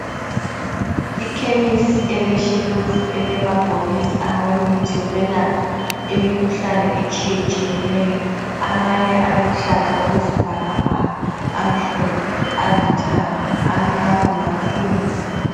Ikhemisi eleshelufu elamabhokisi awemithi yokwelapha imikhuhlane etshiyetshiyeneyo .Amanye aluhlaza okwesibhakabhaka, amhlophe alithanga, amnyama, lansundu.